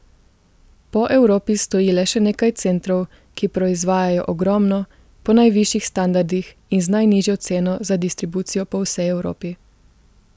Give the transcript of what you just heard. Po Evropi stoji le še nekaj centrov, ki proizvajajo ogromno, po najvišjih standardih in z najnižjo ceno za distribucijo po vsej Evropi.